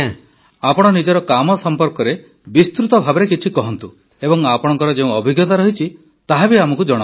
ଆପଣ ନିଜ କାମ ସମ୍ପର୍କରେ ବିସ୍ତୃତ ଭାବେ କିଛି କୁହନ୍ତୁ ଏବଂ ଆପଣଙ୍କର ଯେଉଁ ଅଭିଜ୍ଞତା ରହିଛି ତାହା ବି ଆମକୁ ଜଣାନ୍ତୁ